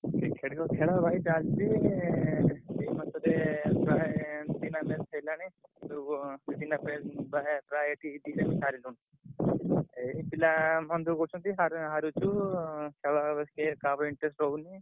Cricket ତ ଖେଳ ଭାଇ ଚାଲିଚି ଚାଲଚି ତାପରେ ପ୍ରାୟ ଏମତି ମାନେ ହେଲାଣି ସବୁ ବିଭିନ୍ନ ପ୍ରାୟ ଏଠି କିଛି ସେମତି ସାରୁଛନ୍ତି ଏଇ ପିଲା ମନ ଦୁଃଖ କରୁଛନ୍ତି। sir ହାରୁଛୁ ଉଁ ଖେଳ ବେଶୀ କାହାର interest ରହୁନି।